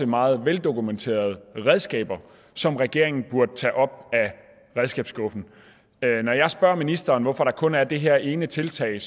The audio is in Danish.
meget veldokumenterede redskaber som regeringen burde tage op af redskabsskuffen jeg spørger ministeren hvorfor der kun er det her ene tiltag